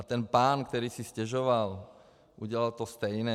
A ten pán, který si stěžoval, udělal to samé.